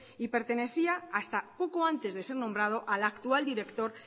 y pertenecía hasta poco antes de ser nombrado al actual director